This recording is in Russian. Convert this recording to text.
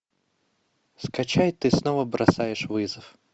скачай ты снова бросаешь вызов